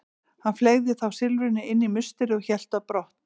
Hann fleygði þá silfrinu inn í musterið og hélt brott.